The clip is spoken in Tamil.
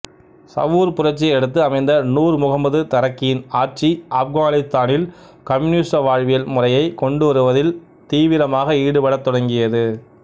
சவூர் புரட்சியை அடுத்து அமைந்த நூர் முகம்மது தரக்கியின் ஆட்சி ஆப்கானித்தானில் கம்யூனிச வாழ்வியல் முறையைக் கொண்டுவருவதில் தீவிரமாக ஈடுபடத்தொடங்கியது